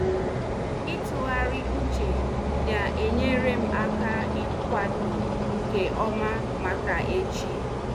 itughari uche n'enyere m aka ikwado nke oma maka echi.